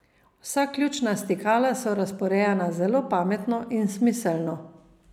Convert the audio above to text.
Vsa ključna stikala so razporejena zelo pametno in smiselno.